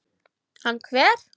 Hann hver?